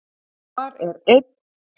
Þar er einn